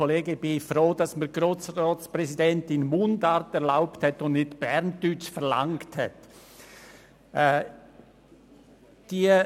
Ich bin froh, dass die Frau Präsidentin erlaubt hat, Mundart zu sprechen und dass sie nicht Berndeutsch verlangt hat.